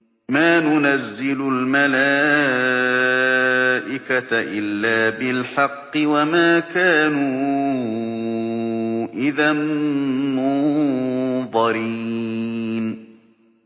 مَا نُنَزِّلُ الْمَلَائِكَةَ إِلَّا بِالْحَقِّ وَمَا كَانُوا إِذًا مُّنظَرِينَ